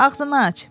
Ağzını aç.